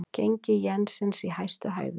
Gengi jensins í hæstu hæðum